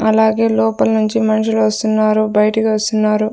అలాగే లోపల నుంచి మనుషులు వస్తున్నారు బయటికి వస్తున్నారు.